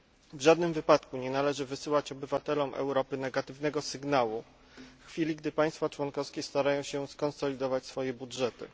W żadnym wypadku nie należy wysyłać obywatelom Europy negatywnego sygnału w chwili, gdy państwa członkowskie starają się skonsolidować swoje budżety.